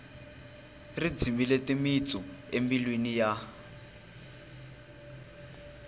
ri dzimile timitsu embilwini ya